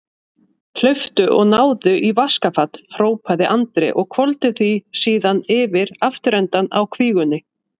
Hlauptu og náðu í vaskafat, hrópaði Andri og hvolfdi því síðan yfir afturendann á kvígunni.